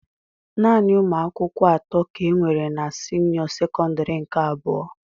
Naanị umuakwukwo atọ ka enwere na senio sekondari nke abụọ.